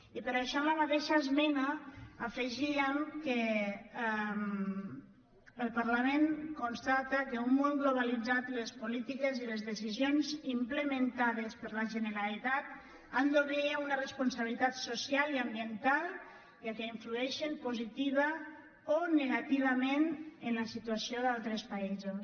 i per això en la mateixa esmena afegíem que el parlament constata que en un món globalitzat les polítiques i les decisions implementades per la generalitat han d’obeir a una responsabilitat social i ambiental ja que influeixen positivament o negativament en la situació d’altres països